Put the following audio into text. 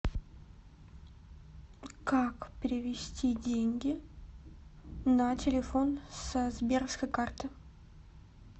как перевести деньги на телефон со сберовской карты